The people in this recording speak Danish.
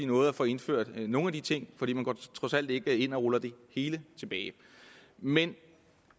nåede at få indført nogle af de ting for man går trods alt ikke ind og ruller det hele tilbage men